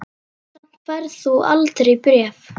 Samt færð þú aldrei bréf.